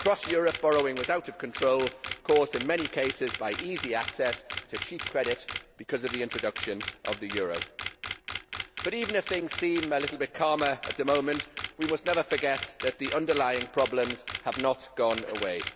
Across Europe, borrowing was out of control, caused in many cases by easy access to cheap credit because of the introduction of the euro. But even if things seem a little bit calmer at the moment, we must never forget that the underlying problems have not gone away.